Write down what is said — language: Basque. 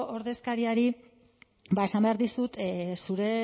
ordezkariari esan behar dizut zure